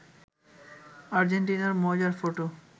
আর্জেন্টিনার মজার ফটো